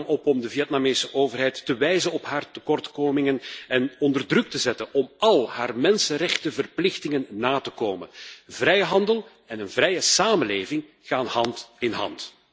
Ik roep u daarom op om de Vietnamese overheid te wijzen op haar tekortkomingen en onder druk te zetten om al haar mensenrechtenverplichtingen na te komen. Vrijhandel en een vrije samenleving gaan hand in hand.